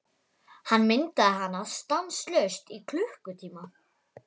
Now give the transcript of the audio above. Hann myndaði hana stanslaust í klukkutíma.